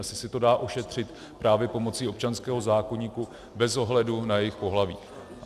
Asi se to dá ošetřit právě pomocí občanského zákoníku bez ohledu na jejich pohlaví.